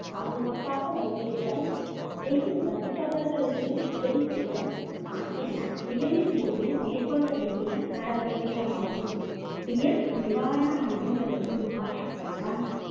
பாதுகாப்பாக வைத்திருத்தல், அருகில் வசிப்பவர்களுக்கு உதவி செய்தல் ஆகியன புயலின் போது மேற்கொள்ள வேண்டிய நடவடிக்கைகளாகும்